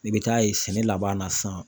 I bɛ taa ye sɛnɛ laban na sisan.